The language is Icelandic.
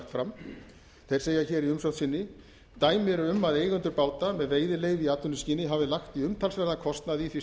fram þeir segja hér í umsögn sinni dæmi eru um að eigendur báta með veiðileyfi í atvinnuskyni hafi lagt í umtalsverðan kostnað í því